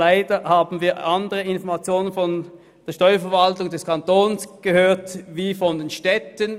Leider hatten wir unterschiedliche Informationen von der Steuerverwaltung des Kantons und von den Städten.